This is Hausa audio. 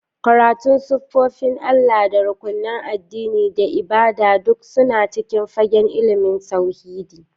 Karatun sifofin Allah, da rukunan addini, da ibada duk suna cikin fagen ilimin tauhidi.